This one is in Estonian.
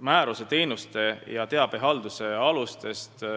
määruse teenuste korraldamise ja teabehalduse aluste kohta.